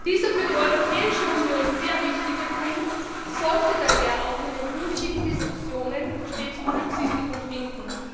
Dieser für die Europäische Union sehr wichtige Punkt sollte daher auch in den künftigen Diskussionen stets Berücksichtigung finden.